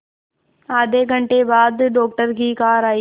आधे घंटे बाद डॉक्टर की कार आई